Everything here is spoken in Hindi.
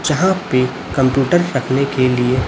जहां पे कंप्यूटर पढ़ने के लिए--